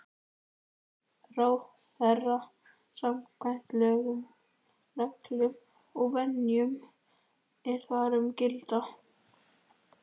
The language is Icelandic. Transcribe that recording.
ráðherra samkvæmt lögum, reglum og venjum, er þar um gilda.